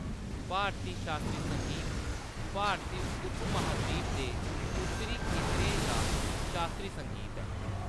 भारती शास्त्री संगीत भारती उपमहाद्वीप दे उत्तरी खेतरें दा शास्त्री संगीत ऐ।